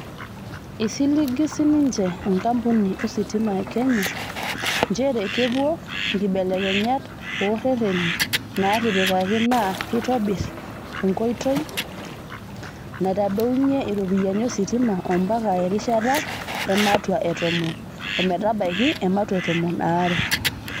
Eisiligi sininje enkampuni ositima e Kenya, njeree kepuo nkibelekenyat ooreteni naatipikaki naa keitobir enkoiti naitodounye iropiyiani ositima ombaka erishata ematua e tomon ometabaiki ematua e tomon aare.